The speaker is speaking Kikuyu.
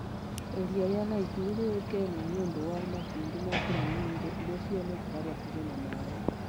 Iria rĩa Nakuru nĩ rĩũĩkaine nĩ ũndũ wa makundi ma flamingo iria cionekaga hakuhĩ na maĩ.